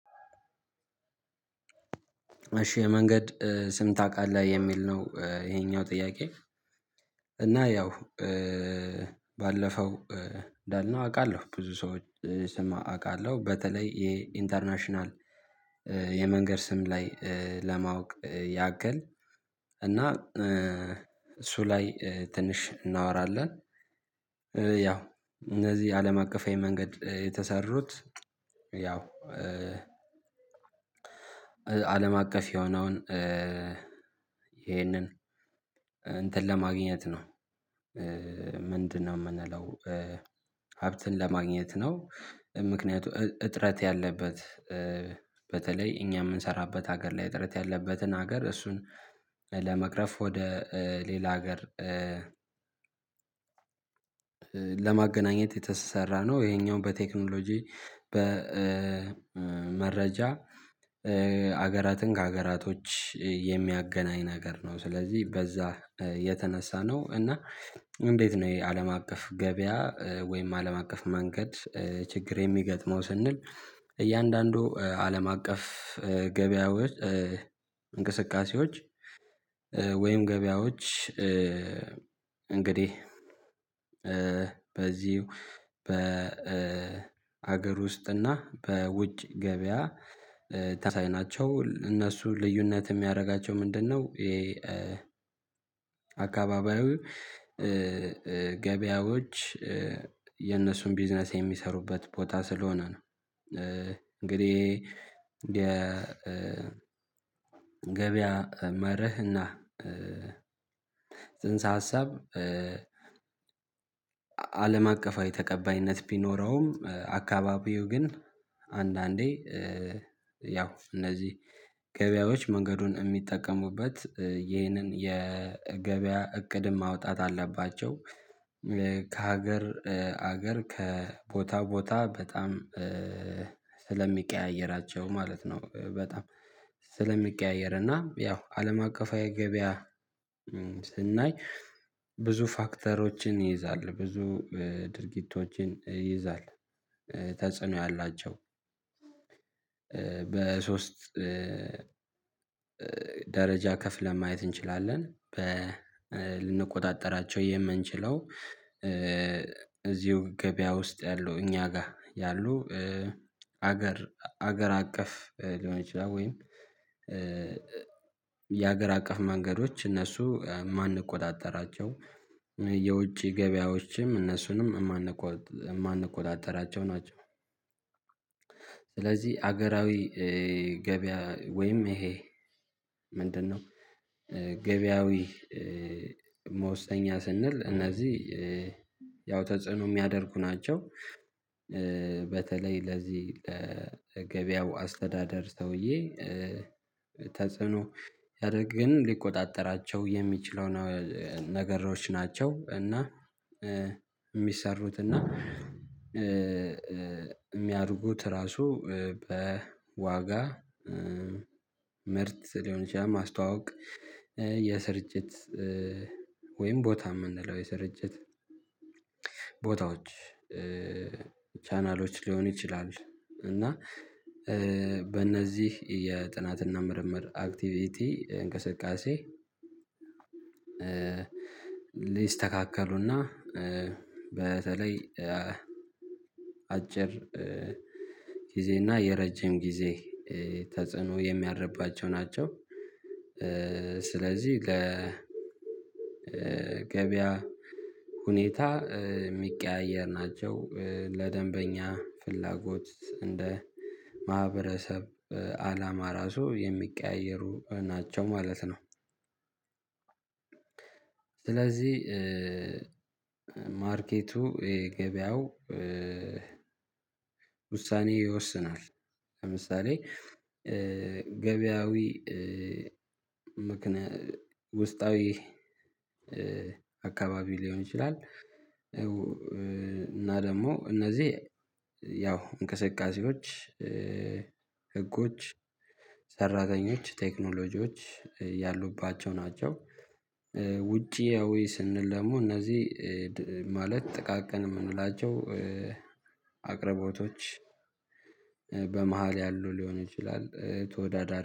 እሺ የመንገድ ስም ታውቃለህ የሚል ነው ይሄኛው ጥያቄ? እና ያው ባለፈው እንዳልነው አውቃለሁ ብዙ ሰዎች ስም አውቃለሁ በተለይ የኢንተርናሽናል የመንገድ ስም ላይ ለማወቅ ያክል እና እሱ ላይ ትንሽ እናወራለን ያው እነዚህ አለም አቀፋዊ መንገድ የተሰሩት ያው አለም አቀፍ የሆነውን ይሄንን እንትን ለማግኘት ነው። ምንድነው እምንለው? ሀብትን ለማግኘት ነው ምክንያቱ እጥረት ያለበት በተለይ እኛ እምንሰራበት ሀገር ላይ እጥረት ያለበትን ሀገር እሱን ለመቅረፍ ወደ ሌላ ሀገር ለማገናኘት የተሰራ ነው። ይሄኛው በቴክኖሎጂ በመረጃ አገራትን ከአገራቶች የሚያገናኝ ነገር ነው። ስለዚህ በዛ የተነሳ ነው እና እንዴት ነው የአለም አቀፍ ገቢያ ወይም አለም አቀፍ መንገድ ችግር የሚገጥመው ስንል? እያንዳንዱ አለም አቀፍ ገቢያዎች እንቅስቃሴዎች ወይም ገበያዎች እንግዲህ በዚሁ በአገር ውስጥና በውጭ ገቢያ ታሳየናቸው እነሱ ልዩነት እሚያደርጋቸው ምንድነው? ይሄ አካባቢያዊ ገበያዎች የነሱን ቢዝነስ የሚሰሩበት ቦታ ስለሆነ ነው። እንግዲህ የ ገቢያ መርህና ጽንሰ ሀሳብ አለም አቀፋዊ ተቀባይነት ቢኖረውም አካባቢው ግን አንዳንዴ ያው እነዚህ ገቢያዎች መንገዱን እሚጠቀሙበት ይህንን የገቢያ እቅድ ማውጣት አለባቸው ከሀገር አገር ከቦታ ቦታ በጣም ስለሚቀያይራቸው ማለት ነው። በጣም ስለሚቀያየር እና ያው አለም አቀፋዊ ገበያ ስናይ ብዙ ፋክተሮችን ይይዛል ብዙ ድርጊቶችን ይይዛል ተጽዕኖ ያላቸው በሶስት ደረጃ ከፍለን ማየት እንችላለን። ልንቆጣጠራቸው የምንችለው እዚሁ ገቢያ ውስጥ ያሉ እኛ ጋር ያሉ ሀገር ሀገር አቀፍ ሊሆን ይችላል ወይም የአገር አቀፍ መንገዶች እነሱ ማንቆጣጠራቸው የውጭ ገቢያዎችም እነሱንም የማንቆጣጠራቸው ናቸው። ስለዚህ አገራዊ ገበያ ወይም ይሄ ምንድነው? ገበያዊ መወሰኛ ስንል እነዚህ ያው ተጽዕኖ እሚያደርጉ ናቸው በተለይ ለዚህ ለገበያው አስተዳደር ሰውዬ ተጽዕኖ ሲያደርግ ግን ሊቆጣጠራቸው የሚችለው ነገሮች ናቸው። እና እሚሰሩት እና እሚያድጉት ራሱ በዋጋ ምርት ሊሆን ይችላል ማስተዋወቅ የስርጭት ወይም ቦታ እምንለው የሰረጭት ቦታዎች ቻናሎች ሊሆኑ ይችላል። እና በእነዚህ የጥናትና ምርምር አክቲቪቲ እንቅስቃሴ ሊስተካከሉና በተለይ አጭር ጊዜና የረጅም ጊዜ ተጽዕኖ የሚደረግባቸው ናቸው። ስለዚህ ለገበያ ሁኔታ እሚቀያየር ናቸው ለደንበኛ ፍላጎት እንደ ማህበረሰብ አላማ ራሱ የሚቀያየሩ ናቸው ማለት ነው። ስለዚህ ማርኬቱ የገበያው ውሳኔ ይወስናል ለምሳሌ ገበያዊ ውስጣዊ አካባቢ ሊሆን ይችላል። እና ደሞ እነዚህ ያው እንቅስቃሴዎች ህጎች ሰራተኞች ቴክኖሎጂዎች ያሉባቸው ናቸው። ውጫዊ ስንል ደግሞ እነዚህ ማለት ጥቃቅን እምንውላቸው አቅርቦቶች በመሃል ያሉ ሊሆን ይችላል ተወዳዳሪ